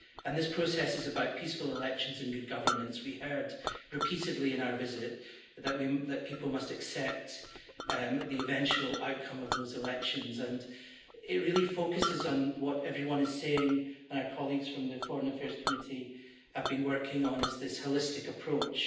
And this process is about peaceful elections and good governance. We heard repeatedly in our visit that people must accept the eventual outcome of those elections, and it really focuses on what everyone is saying and our colleagues from the Committee on Foreign Affairs have been working on this holistic approach.